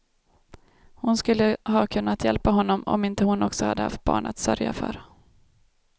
Hon skulle ha kunnat hjälpa honom, om inte hon också hade haft barn att sörja för.